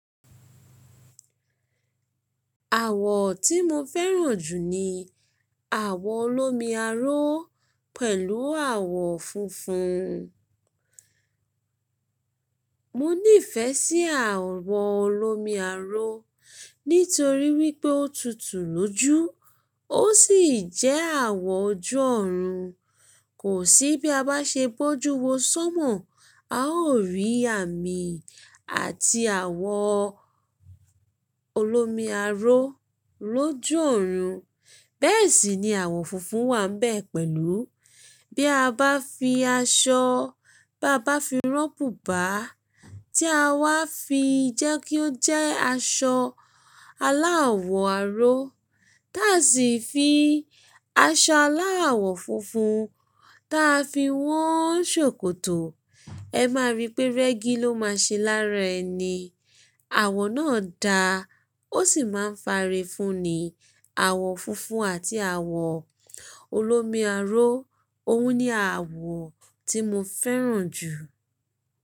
Àwọ̀ tí mo fẹ́ràn jù ni àwọ̀ olómi aró pẹ̀lú àwọ̀ funfun. Mo nífẹ̀ sí àwọ̀ olómi aró, nítorí wípé ó tutù lójú, ó sì jẹ́ àwọ̀ ojú ọ̀run. Kò sí bí a bá ṣe bójú wo sómọ̀, a ó rí àmì àti àwọ̀ olómi aró lójú ọ̀run. Bẹ́ẹ̀ sì ni àwọ̀ funfun wà bẹ́ẹ̀ pẹ̀lú. Bí a bá fi aṣọ, bá bá fi rán bùbá, tí a wá fi jẹ́ kí ó jẹ́ aṣọ aláwọ̀ aró, táa sì fi aṣọ aláwọ̀ funfun táa fi wọ́n ṣòkòtò, ẹ máa rí pé rẹ́gí ló máa ṣe lára ẹni. Àwọ̀ náà da, ó sì máa ń fare fun ni. Àwọ̀ funfun àti àwọ̀ olómi aró, òun ni àwọ̀ tí mo fẹ́ràn jù.